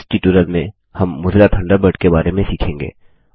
इस ट्यूटोरियल में हम मोज़िला थंडरबर्ड के बारें में सीखेंगे और